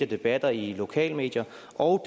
debatter i lokale medier og